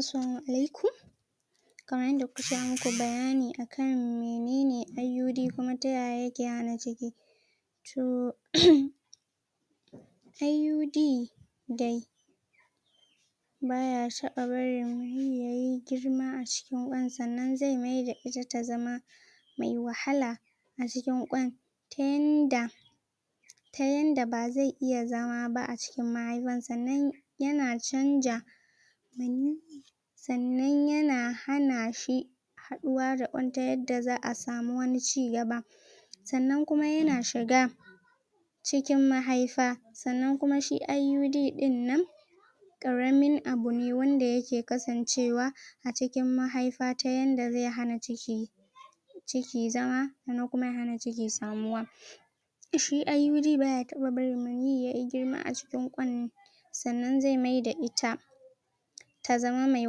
Assalamu alaikum kaman yanda kuka ce in muku bayani akan mene ne IUD kuma ta yaya yake hana ciki to IUD dai baya taɓa barin maniyyi yayi girma a cikin ƙwan, sannan zai maida ita ta zama mai wahala a cikin ƙwan ta yanda ta yanda ba zai iya zama ba a cikin mahaifan, sannan yana canja maniyyi sannan yana hana shi haɗuwa da ƙwan ta yadda za'a samu wani cigaba sannan kuma yana shiga cikin mahaifa sannan kuma shi IUD ɗin nan ƙaramin abu ne wanda yake kasancewa a cikin mahaifa ta yanda zai hana ciki ciki zama sannan kuma ya hana ciki samuwa shi IUD baya taɓa barin maniyyi yayi girma a cikin ƙwan sannan zai maida ita ta zama me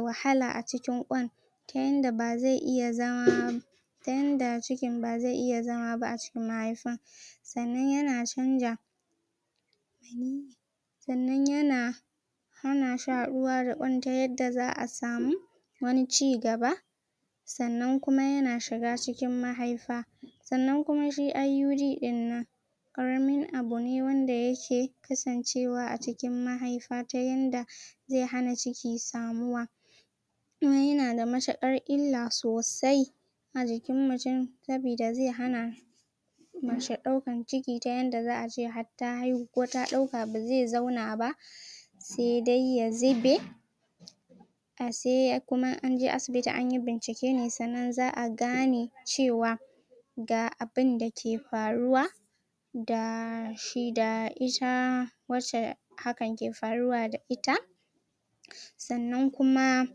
wahala a cikin ƙwan ta yanda ba zai iya zama ta yanda cikin ba zai iya zama ba a cikin mahaifa sannan yana canja sannan yana hana shi haɗuwa da ƙwan ta yadda za'a samu wani cigaba sannan kuma yana shiga cikin mahaifa sannan kuma shi IUD ɗin nan ƙaramin abu ne wanda yake kasancewa a cikin mahaifa ta yanda zai hana ciki samuwa kuma yana da matuƙar illa sosai a jikin mutun sabida zai hana mace ɗaukan ciki ta yanda za'a ce har ta haihu ko ta ɗauka ba zai zauna ba sai dai ya zube ba sai kuma an je asibiti an yi bincike ne sannan a gane cewa ga abinda ke faruwa da shi da ita wacce hakan ke faruwa da ita sannan kuma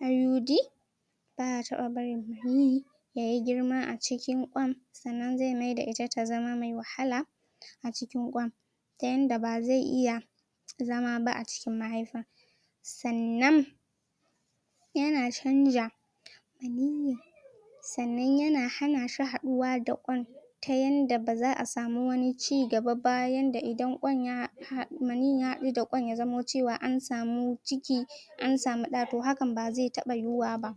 IUD baya taɓa barin maniyyi da ya girma a cikin ƙwan sannan zai maida ita ta zama mai wahala a cikin ƙwan ta yanda ba zai iya zama ba a cikin mahaifa sannan yana canja sannan yana hana shi haɗuwa da ƙwan ta yanda ba za'a samu wani cigaba ba, yanda idan ƙwan ya, maniyyi ya haɗu da ƙwan ya zamo cewa an samu ciki an samu ɗa, to hakan ba zai taɓa yiwuwa ba.